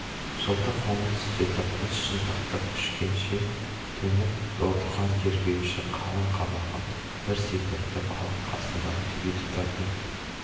жылтыр қоңыр үстелді қос шынтақтап күшгенше төніп отырған тергеуші қалың қабағын бір секіртіп алып қасындағы теледидардың